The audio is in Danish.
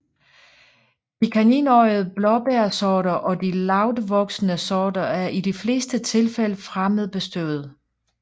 De kaninøjede blåbærsorter og de lavtvoksende sorter er i de fleste tilfælde fremmedbestøvede